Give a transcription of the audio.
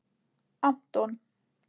Anton